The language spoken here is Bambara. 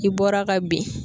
I bɔra ka bin.